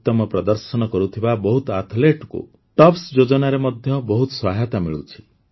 ଉତ୍ତମ ପ୍ରଦର୍ଶନ କରୁଥିବା ବହୁତ ଆଥ୍ଲେଟ୍ଙ୍କୁ ଟପ୍ସ ଯୋଜନାରେ ମଧ୍ୟ ବହୁତ ସହାୟତା ମିଳୁଛି